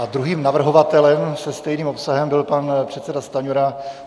A druhým navrhovatelem se stejným obsahem byl pan předseda Stanjura.